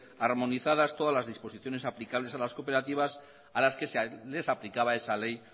armonizadas todas las disposiciones aplicables a las cooperativas a las que se les aplicaba esa ley